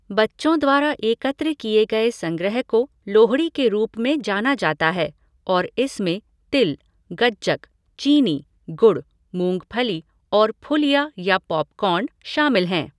बच्चों द्वारा एकत्र किए गए संग्रह को लोहड़ी के रूप में जाना जाता है और इसमें तिल, गच्चक, चीनी, गुड़, मूंगफली और फुलिया या पॉपकॉर्न शामिल हैं।